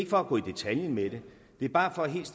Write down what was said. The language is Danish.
for at gå i detaljer med det det er bare for helt